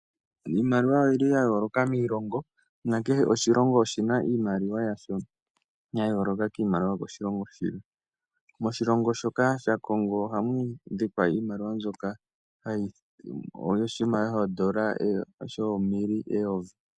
Iimaliwa oya yooloka miilongo. Noshilongo kehe hi na iimaliwa yasho ya yooloka ku yiilongo iikwawo. Moshilongo shoka shaCongo ohamu adhika iimaliwa shoka shoomille eyovi.